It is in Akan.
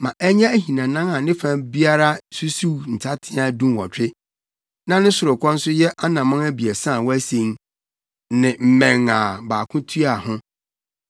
Ma ɛnyɛ ahinanan a ne fa biara susuw nsateaa dunwɔtwe, na ne sorokɔ nso nyɛ anammɔn abiɛsa a wɔasen; ne mmɛn a baako tua ho.